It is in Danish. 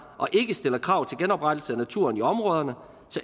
og ikke stiller krav til genoprettelse af naturen i områderne